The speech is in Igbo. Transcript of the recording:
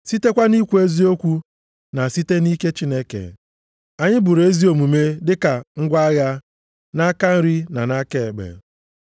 sitekwa nʼikwu eziokwu na site nʼike Chineke. Anyị buru ezi omume dịka ngwa agha nʼaka nri na nʼaka ekpe.